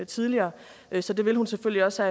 tidligere så det vil hun selvfølgelig også